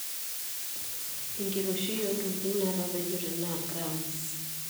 Enkiroishi oo ntokitin naatapejote naa g